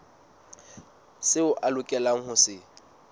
seo a lokelang ho se